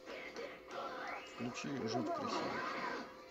включи жить красиво